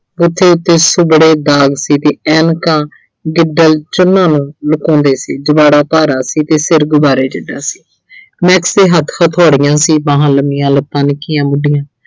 ਉੱਥੇ ਬੜੇ ਦਾਗ ਸੀ ਤੇ ਐਨਕਾਂ ਜਿਦਾਂ ਚੰਨਾਂ ਨੂੰ ਲੁਕਾਉਂਦੇ ਸੀ ਜ਼ੁਬਾੜਾ ਭਾਰਾ ਸੀ ਤੇ ਸਿਰ ਗੁਬਾਰੇ ਜਿੱਡਾ ਸੀ। Max ਦੇ ਹੱਥ ਹਥੌੜੀਆਂ ਸੀ, ਬਾਹਾਂ ਲੰਮੀਆਂ, ਲੱਤਾਂ ਨਿੱਕੀਆਂ ਮੁੱਡੀਆਂ